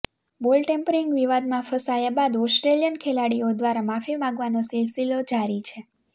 બોલ ટેમ્પરિંગ વિવાદમાં ફસાયા બાદ ઓસ્ટ્રેલિયન ખેલાડીઓ દ્વારા માફી માગવાનો સિલસિલો જારી છે